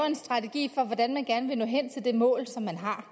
en strategi for hvordan man gerne vil nå hen til det mål som man har